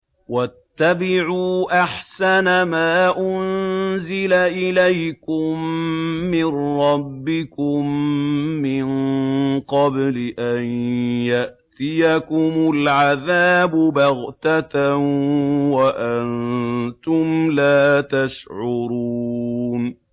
وَاتَّبِعُوا أَحْسَنَ مَا أُنزِلَ إِلَيْكُم مِّن رَّبِّكُم مِّن قَبْلِ أَن يَأْتِيَكُمُ الْعَذَابُ بَغْتَةً وَأَنتُمْ لَا تَشْعُرُونَ